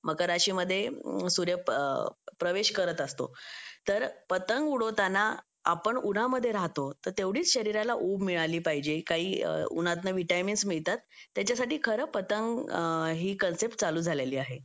मकर राशि मध्ये सूर्य प्रवेश करत असतो तर पतंग उडवताना आपण उन्हामध्ये राहतो तर तेवढीच शरीराला ऊब मिळाली पाहिजे काही उन्हात न विटामिन्स मिळतात त्याच्यासाठी खरं पतंग हे कन्सेप्ट चालू झालेली आहे